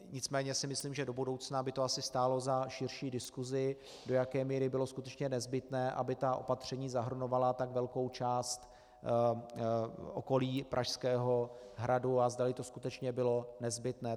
Nicméně si myslím, že do budoucna by to asi stálo za širší diskusi, do jaké míry bylo skutečně nezbytné, aby ta opatření zahrnovala tak velkou část okolí Pražského hradu, a zdali to skutečně bylo nezbytné.